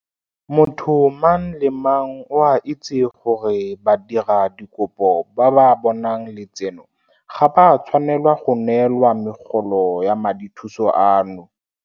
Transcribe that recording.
Motho mang le mang o a itse gore badiradikopo ba ba bonang letseno ga ba tshwanela go neelwa megolo ya madithuso ano.